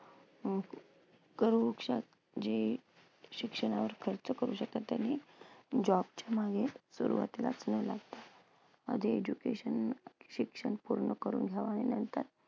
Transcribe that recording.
अं जे शिक्षणावर खर्च करू शकतात त्यांनी job च्या मागे सुरवातीलाच नाही आधी education शिक्षण पूर्ण करून